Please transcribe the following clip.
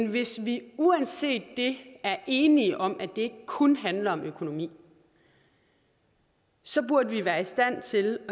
hvis vi uanset det er enige om at det ikke kun handler om økonomi så burde vi være i stand til